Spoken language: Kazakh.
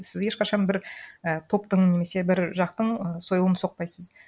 сіз ешқашан бір і топтың немесе бір жақтың сойылын соқпайсыз